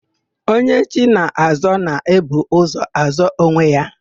Onye chi na-azọ, na-ebu ụzọ azọ onwe ya.